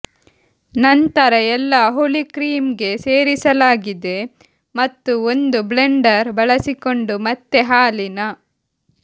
ನಂತರ ಎಲ್ಲಾ ಹುಳಿ ಕ್ರೀಮ್ ಗೆ ಸೇರಿಸಲಾಗಿದೆ ಮತ್ತು ಒಂದು ಬ್ಲೆಂಡರ್ ಬಳಸಿಕೊಂಡು ಮತ್ತೆ ಹಾಲಿನ